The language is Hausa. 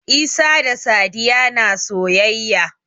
Isa da Sadiya na soyayya.